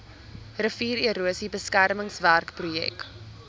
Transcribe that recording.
riviererosie beskermingswerke projek